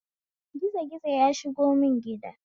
Gizo gizo ya shigo mun gida